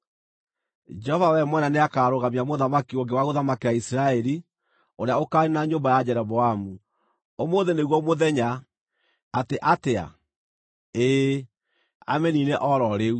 “Jehova we mwene nĩakarũgamia mũthamaki ũngĩ wa gũthamakĩra Isiraeli ũrĩa ũkaaniina nyũmba ya Jeroboamu. Ũmũthĩ nĩguo mũthenya! Atĩ atĩa? Ĩĩ, amĩniine o ro rĩu.